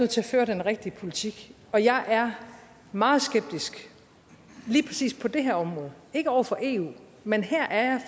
til at føre den rigtige politik og jeg er meget skeptisk lige præcis på det her område ikke over for eu men her er